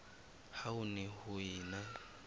ha ho ne ho ena